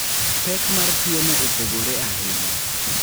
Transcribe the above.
Pek mar tuwono opogore ahinya.